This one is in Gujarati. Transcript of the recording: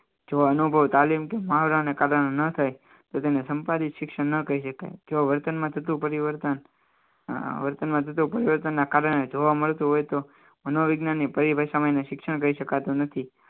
જો અનુભવાય તો તેને સંપાદિત શિક્ષણ ન કરી શકાય જો વર્તનમાં થતું પરિવર્તનના કારણે જોવા મળતું હોય તો મનોવિજ્ઞાનની પરિભાષામાં શિક્ષણ કહી શકાતું નથી